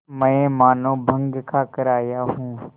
मैं मानों भंग खाकर आया हूँ